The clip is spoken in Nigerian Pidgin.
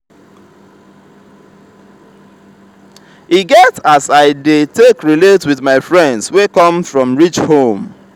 e get as i dey take relate wit my friends wey come from rich home.